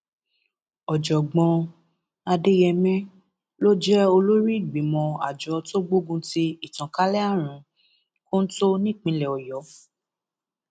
ọjọgbọn adeyemé ló jẹ olórí ìgbìmọ àjọ tó gbógun ti ìtànkalẹ àrùn kóńtó nípínlẹ ọyọ